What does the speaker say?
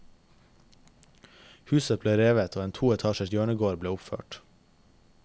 Huset ble revet og en to etasjers hjørnegård ble oppført.